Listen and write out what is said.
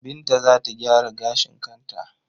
Binta tana gyara gashin kanta.